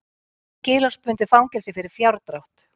Skilorðsbundið fangelsi fyrir fjárdrátt